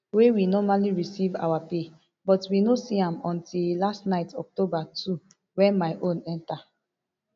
wey we normally receive our pay but we no see am until last night october two wen my own enta